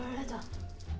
þetta